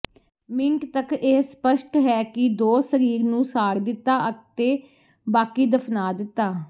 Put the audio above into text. minute ਤੱਕ ਇਹ ਸਪੱਸ਼ਟ ਹੈ ਕਿ ਦੋ ਸਰੀਰ ਨੂੰ ਸਾੜ ਦਿੱਤਾ ਅਤੇ ਬਾਕੀ ਦਫ਼ਨਾ ਦਿੱਤਾ